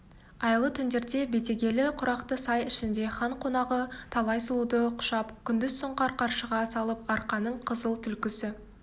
айлы түндерде бетегелі құрақты сай ішінде хан қонағы талай сұлуды құшып күндіз сұңқар қаршыға салып арқаның қызыл түлкісі